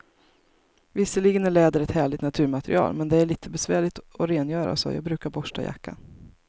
Visserligen är läder ett härligt naturmaterial, men det är lite besvärligt att rengöra, så jag brukar borsta jackan.